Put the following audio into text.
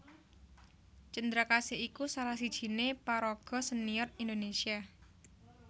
Cendrakasih iku salah sijiné paraga sénior Indonésia